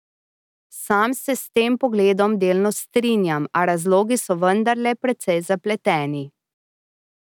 Sam se s tem pogledom delno strinjam, a razlogi so vendarle precej zapleteni.